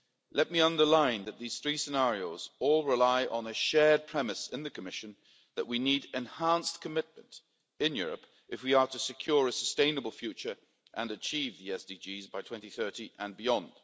Let me underline that these three scenarios all rely on a shared premise in the Commission that we need enhanced commitment in Europe if we are to secure a sustainable future and achieve the SDGs by 2030 and beyond.